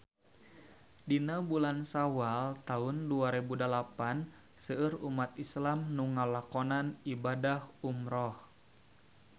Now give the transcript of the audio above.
Dina bulan Sawal taun dua rebu dalapan seueur umat islam nu ngalakonan ibadah umrah